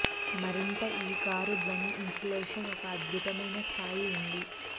మరింత ఈ కారు ధ్వని ఇన్సులేషన్ ఒక అద్భుతమైన స్థాయి ఉంది